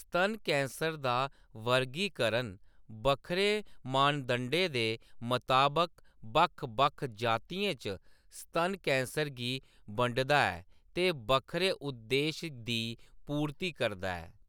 स्तन कैंसर दा वर्गीकरण बक्खरे मानदंडें दे मताबक बक्ख-बक्ख जातियें च स्तन कैंसर गी बंडदा ऐ ते बक्खरे उद्देश दी पूर्ती करदा ऐ।